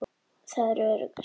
Það er öruggast.